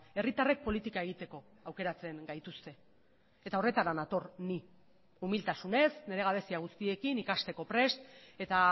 herritarrek politika egiteko aukeratzen gaituzte eta horretara nator ni umiltasunez nire gabezia guztiekin ikasteko prest eta